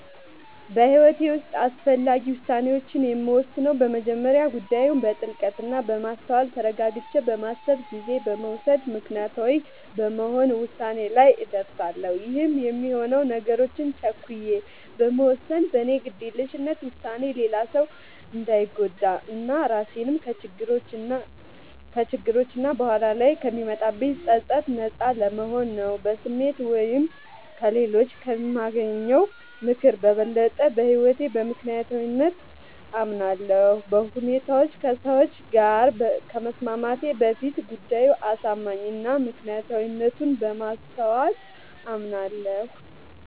በህይወቴ ዉስጥ አስፈላጊ ዉሳኔዎችን የምወስነው በመጀመሪያ ጉዳዩን በጥልቀት እና በማስተዋል ተረጋግቼ በማሰብ ጊዜ በመዉሰድ ምክንያታዊ በመሆን ዉሳኔ ላይ እደርሳለሁ ይህም የሚሆነው ነገሮችን ቸኩዬ በመወሰን በኔ ግዴለሽነት ዉሳኔ ሌላ ሰዉ እንዳንጎዳ እና ራሴንም ከችግሮች እና በኋላ ላይ ከሚመጣብኝ ፀፀት ነጻ ለመሆን ነዉ። በስሜት ወይም ከሌሎች ከሚያገኘው ምክር በበለጠ በህይወቴ በምክንያታዊነት አምናለሁ፤ በሁኔታዎች ከሰዎች ጋር ከመስማማቴ በፊት ጉዳዩ አሳማኝ እና ምክንያታዊነቱን በማስተዋል አምናለሁ።